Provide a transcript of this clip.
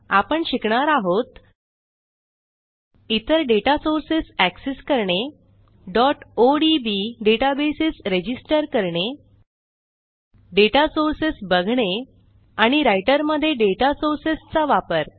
आपण शिकणार आहोत इतर डेटा सोर्सेस एक्सेस करणे odb डेटाबेस रजिस्टर करणे डेटा सोर्सेस बघणे आणि राइटर मध्ये डेटा सोर्सेसचा वापर